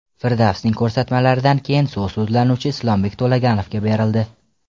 Firdavsning ko‘rsatmalaridan keyin so‘z sudlanuvchi Islombek To‘laganovga berildi.